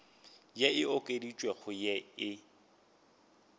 ye e okeditšwego ye e